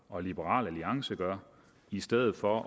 og liberal alliance gør i stedet for at